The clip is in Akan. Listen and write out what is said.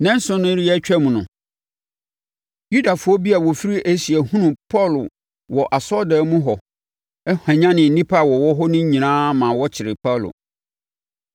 Nnanson no reyɛ atwam no, Yudafoɔ bi a wɔfiri Asia hunuu Paulo wɔ asɔredan mu hɔ, hwanyanee nnipa a wɔwɔ hɔ no nyinaa maa wɔkyeree Paulo.